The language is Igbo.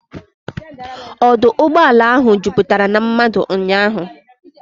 Ọdụ ụgbọala ahụ juputara na mmadụ ụnyaahụ.